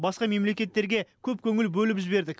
басқа мемлекеттерге көп көңіл бөліп жібердік